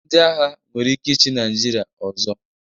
Ndị agha nwere ike ịchị Naịjirịa ọzọ.